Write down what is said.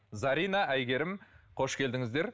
зарина әйгерім қош келдіңіздер